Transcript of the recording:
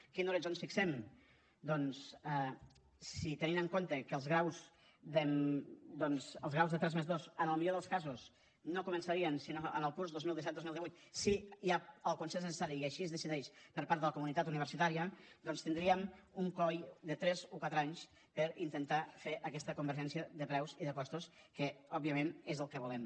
quin horitzó ens fixem doncs si tenim en compte que els graus de tres+dos en els millors dels casos no començarien sinó en el curs dos mil disset dos mil divuit si hi ha el consens necessari i així es decideix per part de la comunitat universitària doncs tindríem un coll de tres o quatre anys per intentar fer aquesta convergència de preus i de costos que òbviament és el que volem